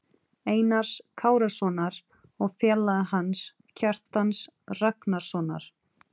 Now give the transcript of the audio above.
Einars Kárasonar, og félaga hans, Kjartans Ragnarssonar.